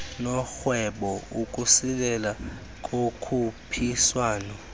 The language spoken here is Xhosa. norhwebo ukusilela kokhuphiswano